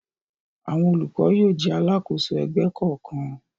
Àwọn olùkọ́ yóò jẹ́ alákòóso ẹgbẹ́ kọ̀ọ̀kan.